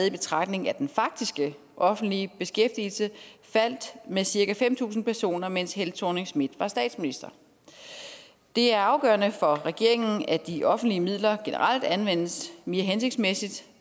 i betragtning at den faktiske offentlige beskæftigelse faldt med cirka fem tusind personer mens helle thorning schmidt var statsminister det er afgørende for regeringen at de offentlige midler generelt anvendes mere hensigtsmæssigt